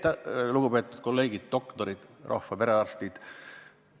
Lugupeetud kolleegid, doktorid, rahva perearstid!